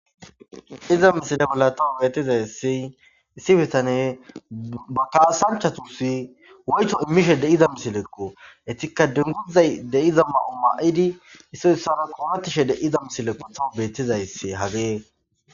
iza misile golla taw beetizayssi issi bitane ba kaasanchatusi woyto immishe deiza misilekko etikka denguzay deiza ma7o ma7idi issoyissara koomettishe deiza misilekko tawu beettizaysse hagee